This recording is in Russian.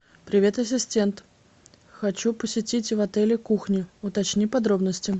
привет ассистент хочу посетить в отеле кухню уточни подробности